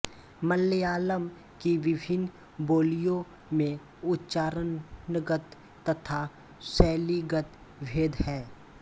मलयालम की विभिन्न बोलियों में उच्चारणगत तथा शैलीगत भेद हैं